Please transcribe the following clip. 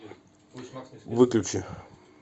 выключи